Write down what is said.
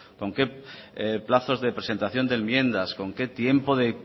con qué plazos de presentación de enmiendas con qué tiempo de